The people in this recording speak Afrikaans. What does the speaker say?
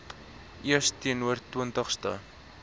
eeus teenoor twintigste